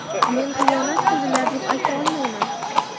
Men xiyonat qildilar, deb ayta olmayman.